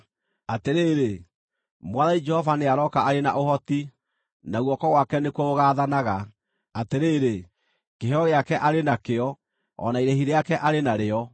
Atĩrĩrĩ, Mwathani Jehova nĩarooka arĩ na ũhoti, na guoko gwake nĩkuo gũgaathanaga. Atĩrĩrĩ, kĩheo gĩake arĩ nakĩo, o na irĩhi rĩake arĩ narĩo.